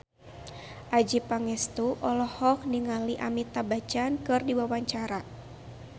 Adjie Pangestu olohok ningali Amitabh Bachchan keur diwawancara